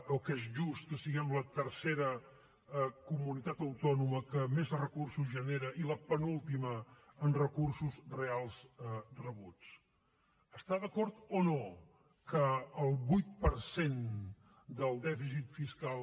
o que és just que siguem la tercera comunitat autònoma que més recursos genera i la penúltima en recursos reals rebuts està d’acord o no que el vuit per cent del dèficit fiscal